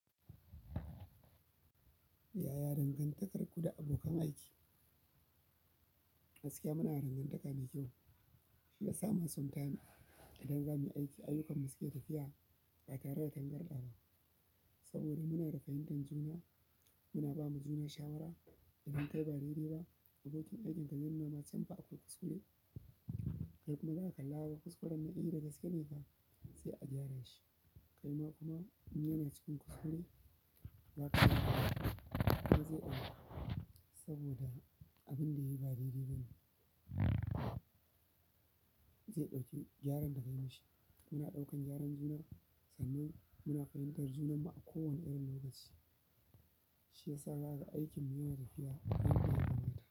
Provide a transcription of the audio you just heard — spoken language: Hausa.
Yaya dangantakarku da abokan aiki? Gaskiya munada dangantaka mai kyau shiyasa ma sometimes idan zamuyi aiki, aiyukanmu suna tafiya ba tare da tangarɗawa ba saboda munada fahimtan juna muna bawa juna shawara idan kayi ba dai dai ba abokin aikinka zai nuna ma can fa akwai kuskure. Kai kuma zaka kalla kuskuren eh da gaskene fa sai a gyara shi. Kaima kuma in yana cikin kuskure zaka gyara mai, saboda abunda yayi ba dai dai bane zai ɗauki gyaran da ka yimishi. Muna ɗaukan gyaran juna sannan muna fahimtar junan mu a kowane irin lokaci. Shi ya sa zakaga aikin mu yana tafiya a kan gaba gaba da.